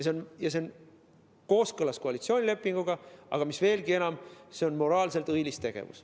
See on kooskõlas koalitsioonilepinguga, veelgi enam, see on moraalselt õilis tegevus.